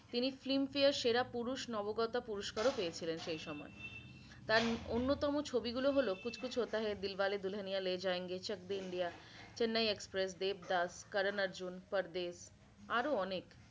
তিনি filmfare সেরা পুরুষ নবাগত পুরস্কার ও পেয়েছিলেন সেই সময়। তার অন্যতম ছবি গুলো হল Kuch kuch hota hain, Dilwale Dulhaniya le jayenge, Chak de India, Chennai express, Devdas, Karan Arjun, Pardesh আরও অনেক।